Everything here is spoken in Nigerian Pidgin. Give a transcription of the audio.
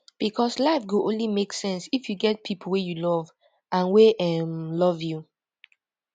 becos life go only make sense if you get pipo wey you love and wey um love you